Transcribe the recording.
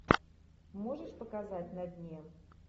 можешь показать на дне